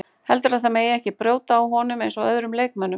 Heldurðu að það megi ekki brjóta á honum eins og öðrum leikmönnum?